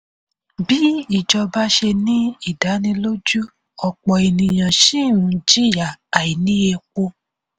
bí ìjọba ṣe ní ìdánilójú ọ̀pọ̀ ènìyàn ṣì ń jìyà àìní epo.